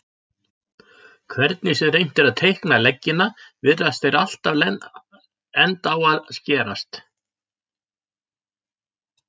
Hvernig sem reynt er að teikna leggina virðast þeir alltaf enda á að skerast.